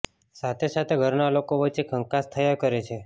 સાથે સાથે ઘરના લોકો વચ્ચે કંકાસ થયા કરે છે